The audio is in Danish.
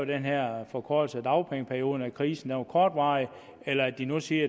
den her forkortelse af dagpengeperioden nemlig at krisen var kortvarig eller det de nu siger